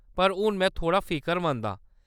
पर हून में थोह्‌ड़ा फिकरमंद आं ।